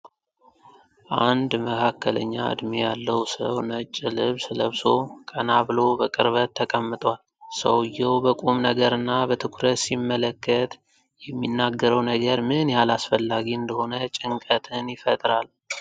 አንድ መካከለኛ እድሜ ያለው ሰው ነጭ ልብስ ለብሶ፣ ቀና ብሎ በቅርበት ተቀምጧል። ሰውዬው በቁም ነገርና በትኩረት ሲመለከት፣ የሚናገረው ነገር ምን ያህል አስፈላጊ እንደሆነ ጭንቀትን ይፈጥራል።